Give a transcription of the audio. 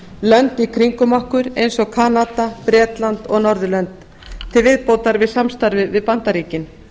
lönd í kringum okkur eins og kanada bretland og norðurlönd til viðbótar samstarfi við bandaríkin